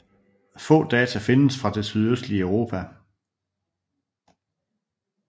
Få data findes fra det sydøstlige Europa